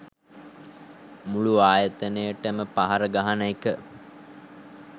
මුලු ආයතනයටම පහර ගහන එක